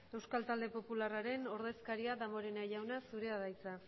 euskal talde popularraren ordezkaria damborenea jauna zurea da hitza